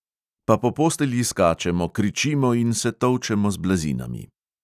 Pa po postelji skačemo, kričimo in se tolčemo z blazinami.